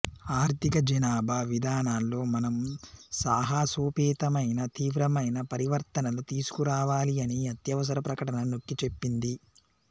ఆర్థిక జనాభా విధానాల్లో మనం సాహసోపేతమైన తీవ్రమైన పరివర్తనలు తీసుకురావాలి అని అత్యవసర ప్రకటన నొక్కి చెప్పింది